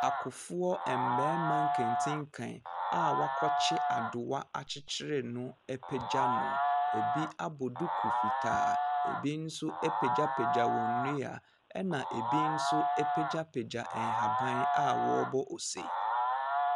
Akofoɔ mmɛma nkentinka akɔ wakɔ kyi adoa akyikyire no apagya. Ebi abɔ duku fitaa, ebi nso apagya pagya wɔn ndua ɛna ebi nso apagya pagya nhaban awɔbɔ ɔse.